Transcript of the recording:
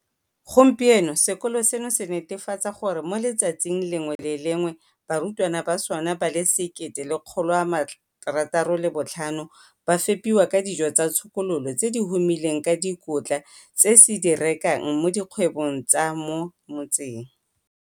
Gompieno sekolo seno se netefatsa gore mo letsatsing le lengwe le le lengwe barutwana ba sona ba le 1 065 ba fepiwa ka dijo tsa tshokololo tse di humileng ka dikotla tse se di rekang mo dikgwebong tsa mo motseng.